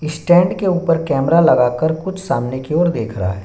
Stand के ऊपर camera लागाकर कुछ सामने की ओर देख रहा है।